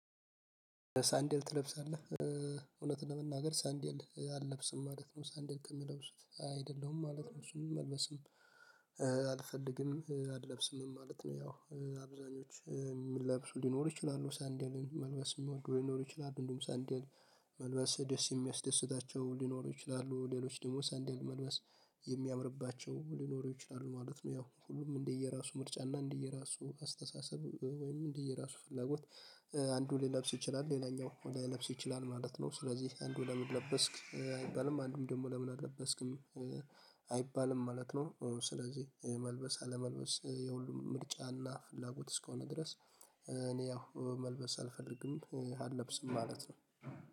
ሳንደል ትለብሳለህ? እውነቱን ለመናገር ሳንደል አለብስም ማለት ነው። ሳንደል ከሚለብሱት አይደለሁም ማለት ነው። እሱም መልበስም አልፈልግም አለብስምም ማለት ነው። ያው አብዛኞቹ የሚለብሱ ሊኖሩ ይችላሉ ሳንደልን፤ መልበስ የሚወዱ ሊኖሩ ይችላሉ። እንዲሁም ሳንደል መልበስ ደስ የሚያስደስታቸው ሊኖሩ ይችላሉ። ሌሎች ደግሞ ሳንደል መልበስ የሚያምርባቸው ሊኖሩ ይችላሉ ማለት ነው። ያው ሁሉም እንደየራሱ ምርጫ እና እንደየራሱ አስተሳሰብ ወይም እንደየራሱ ፍላጎት አንዱ ሊለብስ ይችላል ሌላኛው ላይለብስ ይችላል ማለት ነው። ስለዚህ አንዱን ለምን ለበስክ አይባልም። አንዱም ደግሞ ለምን አለበስክም አይባልም ማለት ነው። ስለዚህ መልበስ አለመልበስ የሁሉም ምርጫና ፍላጎት እስከሆነ ድረስ እኔ ያው መልበስ አልፈልግም አልለብስም ማለት ነው።